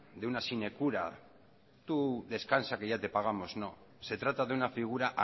de una sinecura tú descansa que ya te pagamos no se trata de una figura